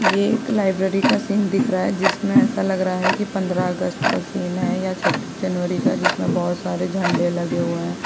ये एक लाइब्रेरी का सीन दिख रहा है जिसमें ऐसा लग रहा है की पंद्रह अगस्त का सीन है या छब्बीस जनवरी का जिसमें बहुत सारे झंडे लगे हुए हैं।